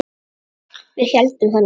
Við héldum það nú.